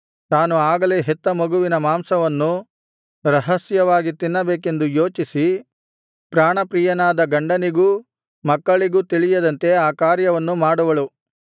ತಾನು ಆಗಲೇ ಹೆತ್ತ ಮಗುವಿನ ಮಾಂಸವನ್ನೂ ರಹಸ್ಯವಾಗಿ ತಿನ್ನಬೇಕೆಂದು ಯೋಚಿಸಿ ಪ್ರಾಣಪ್ರಿಯನಾದ ಗಂಡನಿಗೂ ಮಕ್ಕಳಿಗೂ ತಿಳಿಯದಂತೆ ಆ ಕಾರ್ಯವನ್ನು ಮಾಡುವಳು